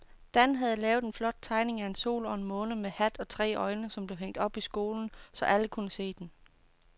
Dan havde lavet en flot tegning af en sol og en måne med hat og tre øjne, som blev hængt op i skolen, så alle kunne se den.